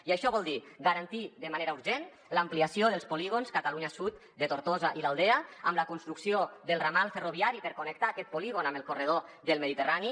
i això vol dir garantir de manera urgent l’ampliació dels polí·gons catalunya sud de tortosa i l’aldea amb la construcció del ramal ferroviari per connectar aquest polígon amb el corredor mediterrani